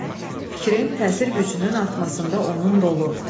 Fikrin təsir gücünün artmasında onun rolu.